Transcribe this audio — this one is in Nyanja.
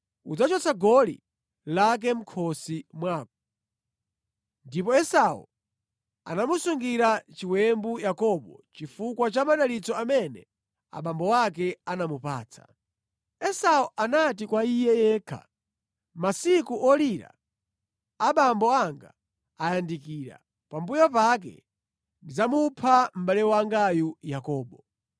Ndipo Esau anamusungira chiwembu Yakobo chifukwa cha madalitso amene abambo ake anamupatsa. Esau anati kwa iye yekha, “Masiku olira abambo anga ayandikira; pambuyo pake ndidzamupha mʼbale wangayu Yakobo.”